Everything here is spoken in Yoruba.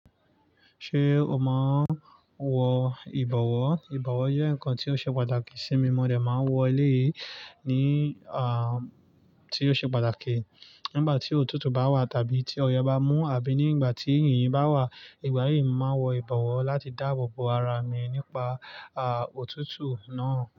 Ṣé o máa ń wọ ìbọ̀wọ́? Ìbọ̀wọ́ jẹ́ nǹkan tí ó ṣe pàtàkì sí mi. Mo de máa n wọ elé yìí ní à tí ó ṣe pàtàkì nígbà tí òtútù bá wà tàbí tí ọyẹ́ bá mú àbí nígbà tí yìnyín bá wà. Ìgbà yìí mo máa wọ ìbọ̀wọ́ láti dáàbò bo ara mi nípa à òtútù náà.